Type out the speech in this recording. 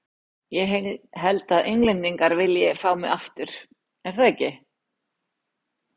Ég held að Englendingar vilji fá mig aftur, er það ekki?